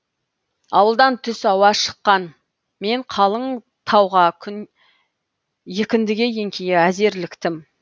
ауылдан түс ауа шыққан мен қалың тауға күн екіндіге еңкейе әзер іліктім